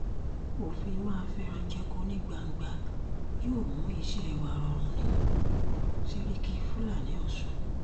òfin má fẹ́ràn jẹ̀kọ ní gbangba yóò mú iṣẹ́ wa rọrùn ní sèríkì fúlàní ọ̀sùn